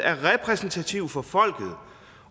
er repræsentativt for folket